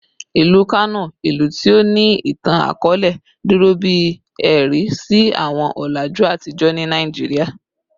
Ilu Kano, ilu ti o ni itan-akọọlẹ, duro bi ẹ̀rí si awọn ọlaju atijọ ti Naijiria